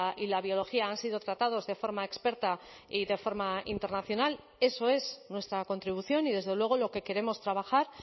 y la biología han sido tratados de forma experta y de forma internacional eso es nuestra contribución y desde luego lo que queremos trabajar